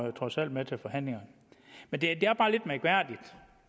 jo trods alt med til forhandlingerne men det